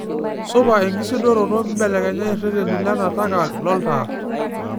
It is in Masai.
supa enkisudoroto mbelekenya ireteni lenataka loltaa